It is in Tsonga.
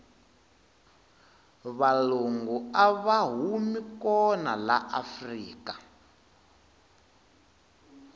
valungu ava humi kona la afrika